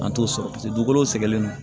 An t'o sɔrɔ paseke dugukolo sɛgɛnnen no